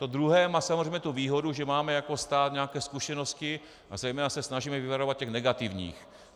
To druhé má samozřejmě tu výhodu, že máme jako stát nějaké zkušenosti a zejména se snažíme vyvarovat těch negativních.